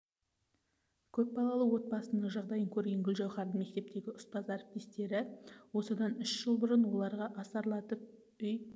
көп балалы отбасының жағдайын көрген гүлжауһардың мектептегі ұстаз әріптестері осыдан үш жыл бұрын оларға асарлатып үй